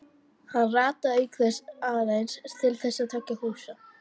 Hann rataði auk þess aðeins til þessara tveggja húsa.